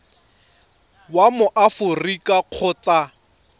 wa mo aforika borwa kgotsa